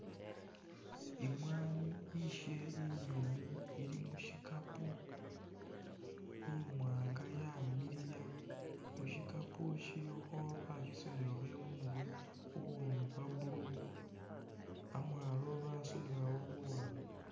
Imwanyi ishe inyoomu ili mushikapo ,imwanga yamiliya mushikapo shilikho bashisunilakho imurwe kuwunu kwa blue amwalo basunilawo buwanga